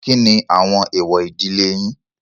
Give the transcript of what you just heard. Kíni àwọn èwọ̀ ìdílé yín?